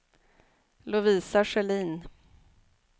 Lovisa Sjölin